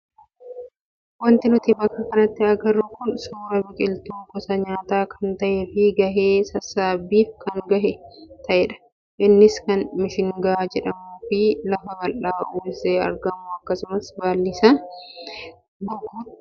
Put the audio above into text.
Wanti nuti bakka kanatti agarru kun suuraa biqiltuu gosa nyaataa kan ta'ee fi gahee sassaabbiif kan gahe ta'edha. Innis kan mishingaa jedhamuu fi lafa bal'aa uwwisee argamu akkasumas baalli isaa goguutti jirudha.